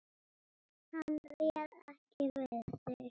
Hann réð ekki við sig.